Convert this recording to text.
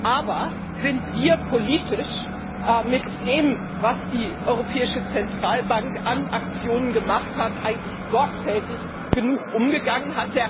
Aber sind wir politisch mit dem, was die Europäische Zentralbank an Aktionen durchgeführt hat, eigentlich sorgfältig genug umgegangen?